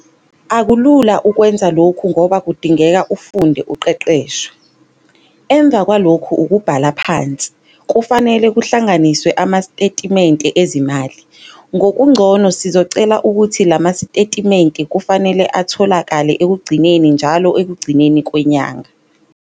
Akulula ukwenza lokhu ngoba kudingeka ufunde uqeqeshwe. Emva kwalokhu ukubhala phansi, kufanele kuhlanganiswe amastetimente ezimali. Ngokugcono sizocela ukuthi lama sitetimente kufanele atholakale ekugcineni njalo ekugcineni kwenyanga.